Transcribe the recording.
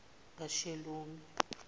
kashelomi